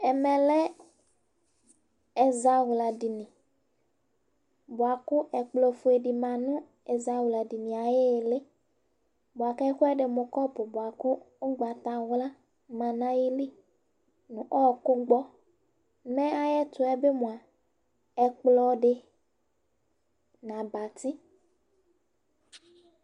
ɛmɛ lɛ ɛzawla dini bʋa ku ɛkplɔ fue di ma nu ɛzawla dini ayili bʋa ku ɛkuɛdi mu kɔpu bʋa ku ugbata wla ma nu ayili nu ɔku gbɔ , me ayɛtuɛ bi mʋa ɛkplɔ di nu abati